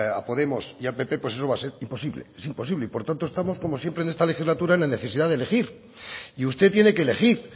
a podemos y a pp pues eso va a ser imposible es imposible y por tanto estamos como siempre en esta legislatura en la necesidad de elegir y usted tiene que elegir